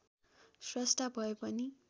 स्रष्टा भए पनि